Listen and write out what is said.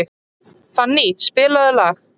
Fanny, spilaðu lag.